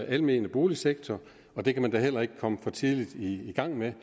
almene boligsektor og det kan man da heller ikke komme for tidligt i gang med